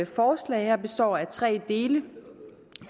forslag består af tre dele